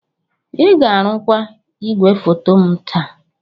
Ị ga-arụkwa igwefoto m taa!